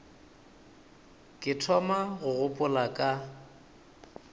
ke thoma go gopola ka